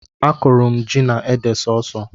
Akụrụ m ji na ede sọọsọ